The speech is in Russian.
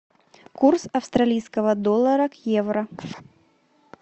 курс австралийского доллара к евро